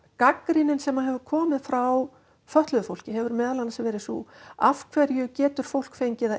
gagnrýnin sem hefur komið frá fötluðu fólki hefur meðal annars verið sú af hverju getur fólk fengið að